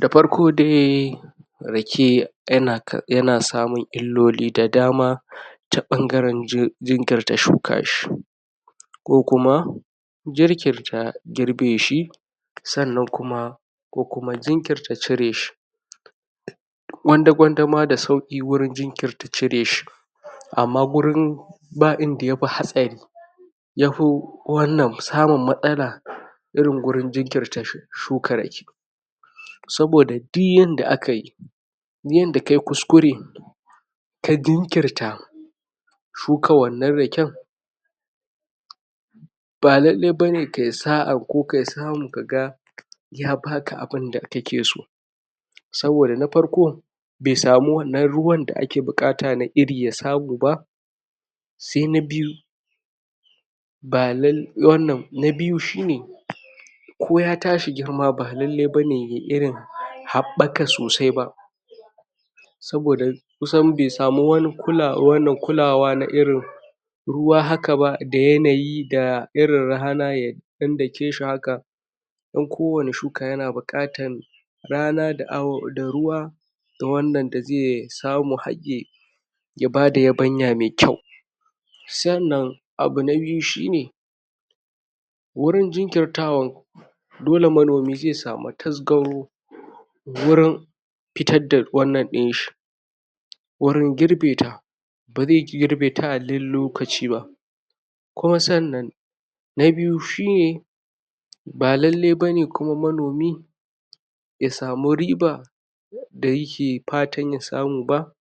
Da farko dai Rake yana kar yana samun illoli da dama ta ɓangaran ju jinkirta shuka shi ko kuma jinkirta girbe shi sannan kuma ko kuma jinkirta cire shi gwanda gwanda ma da sauƙi wurin jinkirta cire shi amma wurin ba inda yafi hatsari yafi wannan, samun matsala irin wurin jinkirta shuh shuka Rake saboda duk yadda akai duk inda kai kuskure ka jinkirta shuka wannan Raken ba lallai bane kai sa'a ko ka samu ka ga ya baka abunda kake so saboda na farko bai sami wannan ruwan da ake buƙa na Iri ya samu ba sai na biyu na lal wannan, na biyu shine ko ya tashi girma ba lallai bane yayi irin haɓaka sosai ba saboda kusan bai sami wani lurawa wannan kulawa na irin ruwa haka ba, da yanayi da irin rana ya ɗan dake shi haka don kowane shuka yana buƙatar rana da au ruwa da wannan da zai samu har yayi ya bada yabanya mai kyau sannan abu na biyu shine wurin jinkirtawan dole manomi zai sami taskaro wurin fitar da wannan ɗin shi wurin girbe ta ba zai girbe ta alal lokaci ba kuma sannan na biyu shine ba lallai bane kuma manomi ya samu riba da yake fatan ya samu ba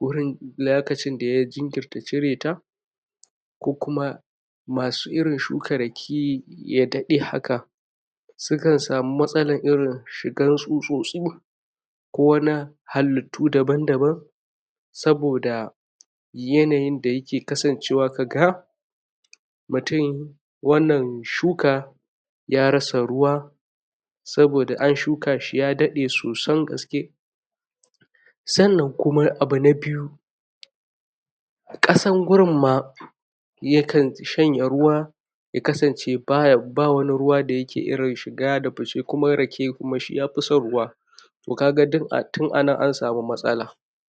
wurin layakacin da ya jinkirta cire ta ko kuma masu irin shuka Rake ya daɗe haka sukan samu matsalar irin shigar tsutsotsu ko wana halittu daban daban saboda yanayin da yake kasancewa kaga mutum wannan shuka ya rasa ruwa saboda an shuka shi ya daɗe sosan gaske sannan kuma abu na biyu ƙasan wurin ma yakan shanye ruwa ya kasance baya ba wani ruwa dake irin shiga da fice kuma Rake kuma shi ya fi son ruwa to kaga duk a tun a nan an sami matsala